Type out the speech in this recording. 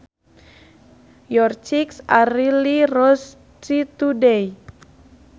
Your cheeks are really rosy today